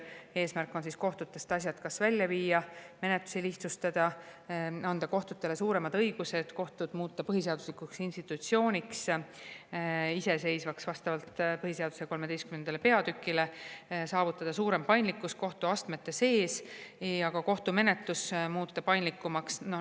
Eesmärk on kohtutest asjad välja viia, menetlusi lihtsustada, anda kohtutele suuremad õigused, kohtud muuta iseseisvaks põhiseaduslikuks institutsiooniks vastavalt põhiseaduse XIII peatükile, saavutada suurem paindlikkus kohtuastmete sees ja ka kohtumenetlus muuta paindlikumaks.